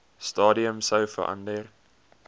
stadium sou verander